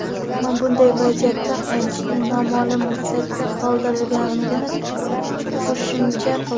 Ammo bunday vaziyatda qaytishni noma’lum muddatga qoldirayotganini qo‘shimcha qildi.